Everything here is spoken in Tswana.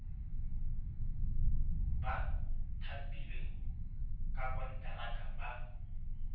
ba thapilweng ka konteraka ba